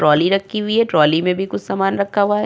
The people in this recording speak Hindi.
ट्राली रखी हुई है। ट्राली में भी कुछ समान रखा हुआ है।